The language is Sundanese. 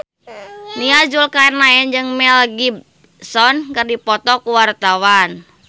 Nia Zulkarnaen jeung Mel Gibson keur dipoto ku wartawan